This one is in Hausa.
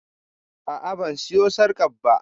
A'a ban siyo sarƙar ba